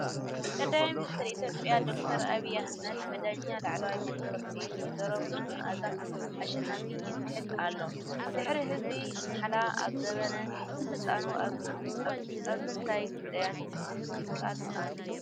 ቀዳማይ ሚኒስትር ኢትዮጵያ ዶክተር ኣብይ ኣሕመድ ብዳኛ ላዕለዋይ ቤት ፍርዲ ወ/ሮ መዓዛ ኣሸናፊ ይምሕል ኣሎ። ድሕሪ እዚ ማሕላ ኣብ ዘመነ ስልጣኑ ኣብ ምንታይ ጉዳያት ከድህብ ቃል ኣትዩ?